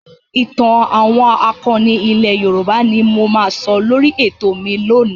ìtàn àwọn akọni ilẹ̀ Yorùbá ni mo máa sọ lórí ètò mi lónìí.